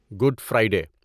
good Friday